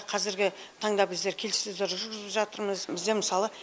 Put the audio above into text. қазіргі таңда біздер келіссөздер жүргізіп жатырмыз бізде мысалы